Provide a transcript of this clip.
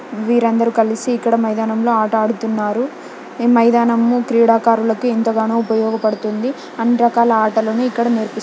వీరందరూ కలిసి ఇక్కడ మైదానంలో ఆట ఆడుతున్నారు. ఈ మైదానం క్రీడాకారులకు ఎంతగానో ఉపయోగపడుతుంది. అన్ని రకాల ఆటలు ఇక్కడ నేర్పి --